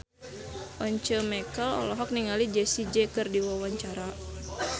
Once Mekel olohok ningali Jessie J keur diwawancara